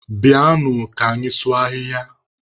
Bịanụ ka anyị sụọ ahịhịa!